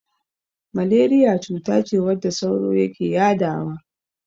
Maleriya cutace wadda sauro yake yadawa.